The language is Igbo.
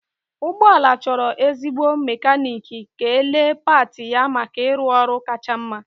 Ụgbọ ala chọrọ ezigbo mekaniiki ga-elee pati ya maka ịrụ ọrụ kacha mma.